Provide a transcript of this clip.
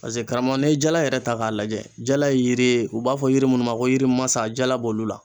Paseke karamɔgɔ n'i ye jala yɛrɛ ta k'a lajɛ, jala ye yiri ye u b'a fɔ yiri minnu ma ko yiri masa jala b'olu la.